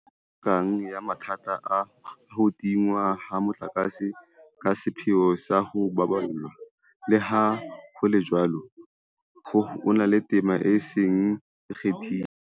Ha re na tsela e potlakang ya mathata a ho tingwa ha motlakase ka sepheo sa ho o baballa, leha ho le jwalo, ho na le tema e seng e kgathilwe